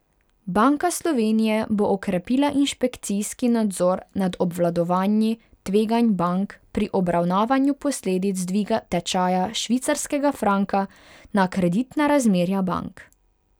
Banka Slovenije bo okrepila inšpekcijski nadzor nad obvladovanji tveganj bank pri obravnavanju posledic dviga tečaja švicarskega franka na kreditna razmerja bank.